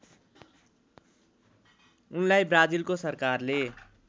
उनलाई ब्राजिलको सरकारले